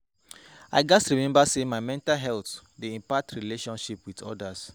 I gats remember say my mental health dey impact my relationships with others.